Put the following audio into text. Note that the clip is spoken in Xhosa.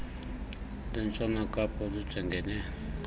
lwentshona kapa olujongene